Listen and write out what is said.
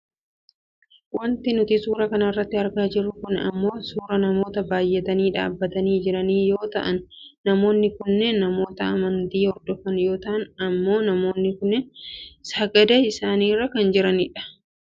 Wanti nuti suuraa kanarratti argaa jirru kun ammoo suuraa namoota baayyatanii dhaabbatanii jiranii yoo ta'an namoonni kunneen namoota amantii hordofan yoo ta'an amma ammoo namoonni kunneen sagadaa kan jira dha.